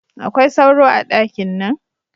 Akwai sauro a dakin nan?